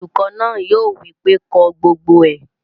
Olùkọ́ náà yóò wí pé "ko gbogbo ẹ!"